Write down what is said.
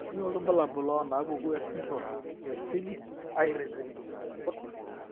Kainyio irbulabul onaapuku esindirom eFlynn Aird?